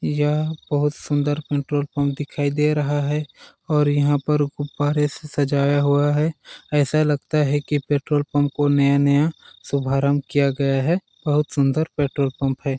यह बहुत सुन्दर पेट्रोल पंप दिखाई दे रहा है और यहाँ पर गुब्बारे से सजाया हुआ है ऐसा लगता है की पेट्रोल पंप को नया नया शुभ आरम्भ किया गया है बहुत सुन्दर पेट्रोल पंप है। .